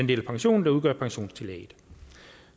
del af pensionen der udgør pensionstillægget